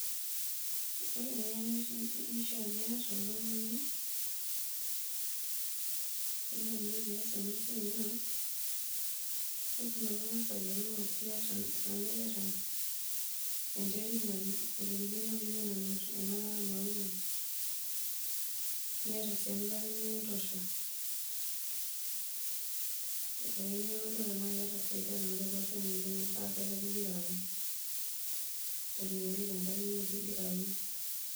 Ore engeno nishaa piata oltungani teniyeu nias enasia naa lasima pingasa ayiolou tanaiata enterit naiterikino peun ena mauai, niata sii enkare nikintosha, niyiolou duo tanaa iyata enkare naitoshatenewoi tenkang ino peingira aun.